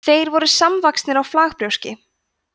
þeir voru samvaxnir á flagbrjóski